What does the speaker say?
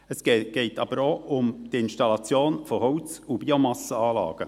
Es geht aber auch um die Installation von Holz- und Biomassenanlagen.